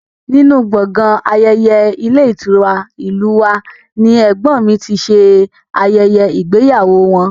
Nínú gbọ̀ngàn ayẹyẹ ilé ìtura ìlú u wa ni ẹ̀gbọ́n mi ti ṣe ayẹyẹ ìgbéyàwó wọn